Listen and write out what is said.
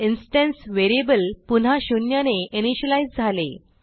instance variable पुन्हा शून्यने initialise झाले